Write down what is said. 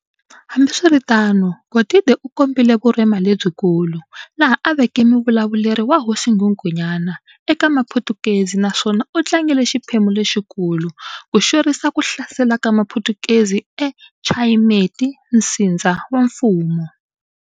Hambiswiritano, Godide u kombile vurhena lebyi kulu, laha a aveke muvulavuleri wa hosi Nghunghunyana, eka maphutukezi, naswona u tlangile xiphemu lexi kulu, ku xwerisa kuhlasela ka maphutukezi e Chayimeti, Nsindza wa mfumo.